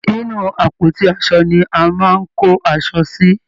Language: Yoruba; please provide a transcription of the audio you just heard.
inú àpótí aṣo ni a máa ń kó aṣọ sí.